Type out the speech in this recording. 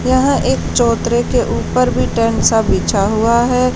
यहां एक चौतरे के ऊपर भी टेंट सा बिछा हुआ है।